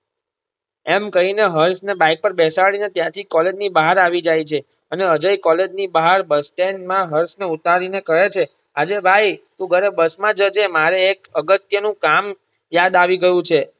એમ કહીને હર્ષ ને bike પર બેસાડીને ત્યાંથી કોલેજ ની બહાર આવી જાય છે અને અજય કોલેજ ની બહાર bus stand માં હર્ષ ને ઉતારી ને કહે છે આજે ભાઈ તું ઘરે બસમાં જજે મારે એક અગત્યનું કામ યાદ આવી ગયું છે.